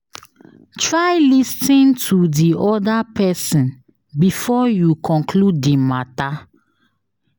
Try lis ten to di other person before you conclude di matter